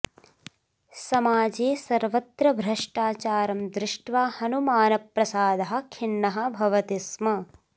समाजे सर्वत्र भ्रष्टाचारं दृष्ट्वा हनुमानप्रसादः खिन्नः भवति स्म